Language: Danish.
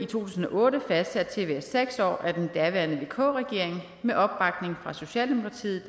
tusind og otte fastsat til at være seks år af den daværende vk regering med opbakning fra socialdemokratiet